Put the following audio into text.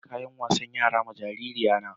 Na saƴi kayan wasan yara ma jaririn yayana.